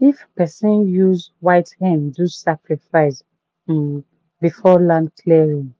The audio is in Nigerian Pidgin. if person use white hen do sacrifice um before land clearing